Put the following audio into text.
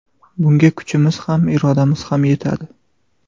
Bunga kuchimiz ham, irodamiz ham yetadi.